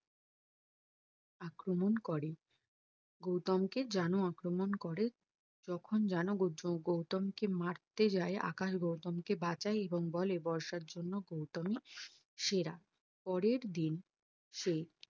আক্রমণ করে গৌতম কে জানু আক্রমণ করে যখন জানু বৌদ্ধ গৌতমকে মারতে যায় আকাশ গৌতমকে বাঁচায় এবং বলে বর্ষার জন্য গৌতমী সেরা পরের দিন সে